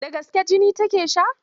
Da gaske jini take sha?